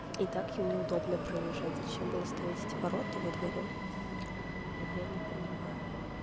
и так им неудобно проезжать зачем было ставить эти ворота во дворе я не понимаю